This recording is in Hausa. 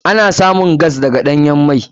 Ana samun gas daga ɗanyan mai.